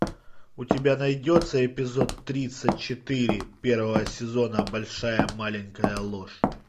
у тебя найдется эпизод тридцать четыре первого сезона большая маленькая ложь